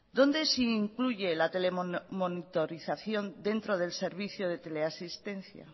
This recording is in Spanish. dónde se incluye la telemonitarización dentro del servicio de teleasistencia